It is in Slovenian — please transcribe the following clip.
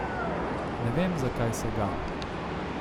Ne vem, zakaj se ga.